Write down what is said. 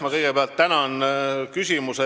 Ma kõigepealt tänan küsimuse eest!